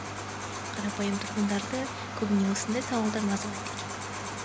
қарапайым тұрғындарды көбіне осындай сауалдар мазалайды екен